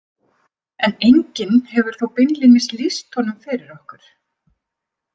En enginn hefur þó beinlínis lýst honum fyrir okkur.